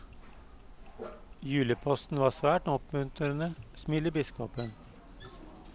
Juleposten var svært oppmuntrende, smiler biskopen.